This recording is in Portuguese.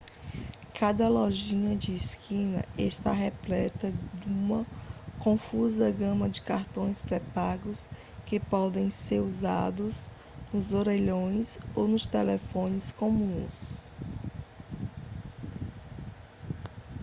cada lojinha de esquina está repleta duma confusa gama de cartões pré-pagos que podem ser usados nos orelhões ou nos telefones comuns